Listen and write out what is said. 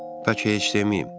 Bəlkə heç deməyim.